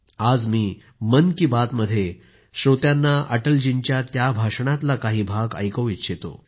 आज मी मन की बात मध्ये श्रोत्यांना अटल जींच्या त्या भाषणातला काही भाग ऐकवू इच्छितो